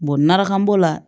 maraka b'o la